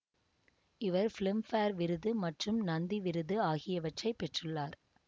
இவர் Filmfare விருது மற்றும் நந்தி விருது ஆகியவற்றை பெற்றுள்ளார்